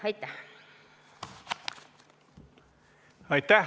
Aitäh!